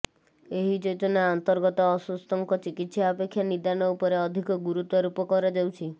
ଏହିଯୋଜନା ଅନ୍ତର୍ଗତ ଅସୁସ୍ଥଙ୍କ ଚିକିତ୍ସା ଅପେକ୍ଷା ନିଦାନ ଉପରେ ଅଧିକ ଗୁରୁତ୍ୱାରୋପ କରାଯାଉଛି